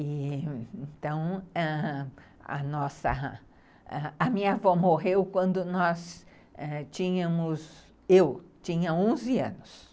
Então, ãh... a nossa, a minha avó morreu quando nós tínhamos... Eu tinha onze anos.